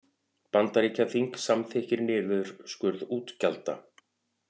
Bandaríkjaþing samþykkir niðurskurð útgjalda